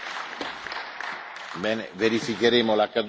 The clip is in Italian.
Verificheremo l'accaduto e poi vi farò sapere.